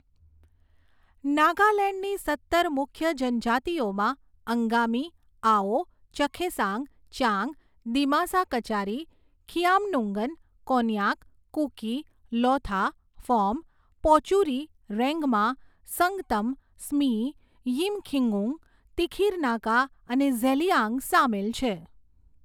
નાગાલેન્ડની સત્તર મુખ્ય જનજાતિઓમાં અંગામી, આઓ, ચખેસાંગ, ચાંગ, દિમાસા કચારી, ખિયામ્નુંગન, કોન્યાક, કુકી, લોથા, ફોમ, પોચુરી, રેંગમા, સંગતમ, સ્મી, યિમખિઉંગ, તિખિર નાગા અને ઝેલિયાંગ સામેલ છે.